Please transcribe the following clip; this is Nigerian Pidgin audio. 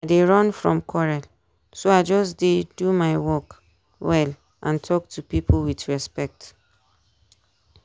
i dey run from quarrel so i just dey do my work well and talk to people with respect.